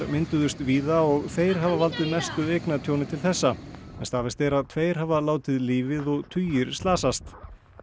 mynduðust víða og þeir hafa valdið mestu eignatjóni til þessa staðfest er að tveir hafa látið lífið og tugir slasast